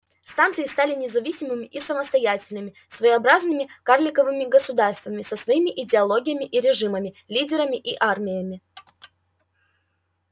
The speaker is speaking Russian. станции стали независимыми и самостоятельными своеобразными карликовыми государствами со своими идеологиями и режимами лидерами и армиями